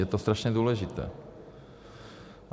Je to strašně důležité.